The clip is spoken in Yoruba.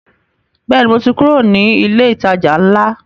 Bẹ́ẹ̀ni, mo ti kúrò ní ilé ìtajà ńlá